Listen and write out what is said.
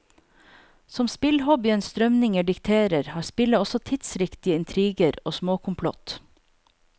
Som spillhobbyens strømninger dikterer, har spillet også tidsriktige intriger og småkomplott.